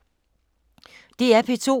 DR P2